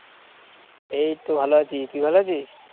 এইতো ভালো আছি। তুই ভালো আছিস?